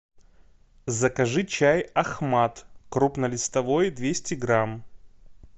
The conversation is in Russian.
закажи чай ахмад крупнолистовой двести грамм